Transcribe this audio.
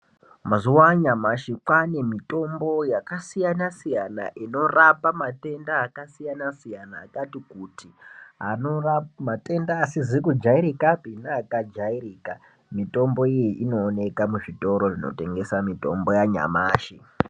Mazuva anyamashi kwane mitombo yakasiyana siyana inorapa matenda akasiyana siyana akati kuti matenda asizi kujairikapi nematenda akajairika mitombo iyi inooneka muzvitoro zvinotengeswa mitombo yanyamashi.